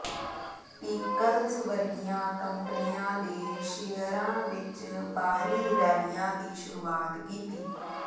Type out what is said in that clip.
ਟੀਕਲਜ਼ ਵਰਗੀਆਂ ਕੰਪਨੀਆਂ ਦੇ ਸ਼ੇਅਰਾਂ ਵਿਚ ਬਾਹਰੀ ਰੈਲੀਆਂ ਦੀ ਸ਼ੁਰੂਆਤ ਕੀਤੀ